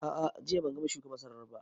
A'a, jiya ban gama shuka masarar ba